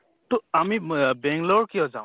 তʼ আমি মে বেংলৰ কিয় যাওঁ